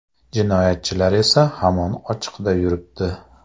Jinoyatchilar esa hamon ochiqda yuribdi.